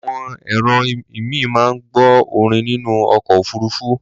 Àwọn èrò ìmíì máa ń gbọ́ orin nínú ọkọ̀ òfuruufú.